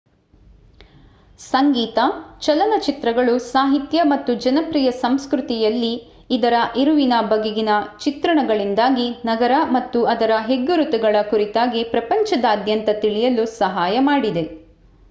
ಸಂಗೀತ ಚಲನಚಿತ್ರಗಳು ಸಾಹಿತ್ಯ ಮತ್ತು ಜನಪ್ರಿಯ ಸಂಸ್ಕೃತಿಯಲ್ಲಿ ಇದರ ಇರುವಿನ ಬಗೆಗಿನ ಚಿತ್ರಣಗಳಿಂದಾಗಿ ನಗರ ಮತ್ತು ಅದರ ಹೆಗ್ಗುರುತುಗಳ ಕುರಿತಾಗಿ ಪ್ರಪಂಚದಾತ್ಯಂತ ತಿಳಿಯಲು ಸಹಾಯ ಮಾಡಿದೆ